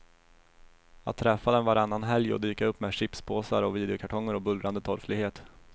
Att träffa dem varannan helg och dyka upp med chipspåsar och videokartonger och bullrande torftighet.